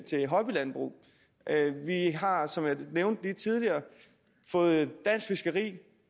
til hobbylandbrug vi har som jeg nævnte tidligere fået dansk fiskeri